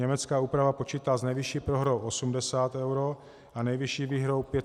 Německá úprava počítá s nejvyšší prohrou 80 eur a nejvyšší výhrou 500 eur.